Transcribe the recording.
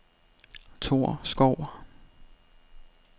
Torskov